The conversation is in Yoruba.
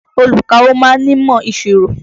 Olùkawó ma ń nímọ̀ ìṣirò.